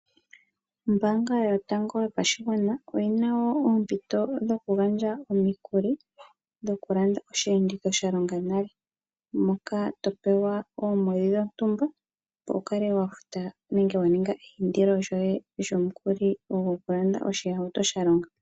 Ombaanga yotango yopashigwana oyina woo oompito dhoku gandja omikuli dhoku landa osheenditho sha longa nale. Moka topewa oongodhi dhontumba opo wukale wafuta nenge wa ninga eindilo lyoye lyomukuli goku landa oshihauto sha longa.